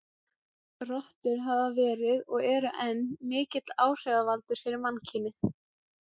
Rottur hafa verið, og eru enn, mikill áhrifavaldur fyrir mannkynið.